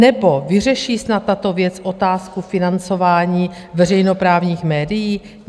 Nebo vyřeší snad tato věc otázku financování veřejnoprávních médií?